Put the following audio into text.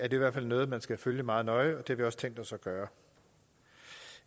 i hvert fald noget man skal følge meget nøje og det har vi også tænkt os at gøre